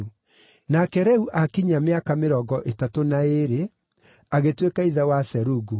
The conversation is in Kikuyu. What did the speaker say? Nake Reu aakinyia mĩaka mĩrongo ĩtatũ na ĩĩrĩ, agĩtuĩka ithe wa Serugu.